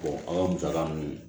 an ka musaka ninnu